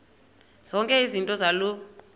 zonke izinto zaloo